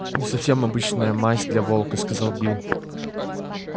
не совсем обычная масть для волка сказал билл